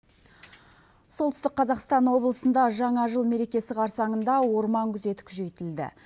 солтүстік қазақстан облысында жаңа жыл мерекесі қарсаңында орман күзеті күшейтілді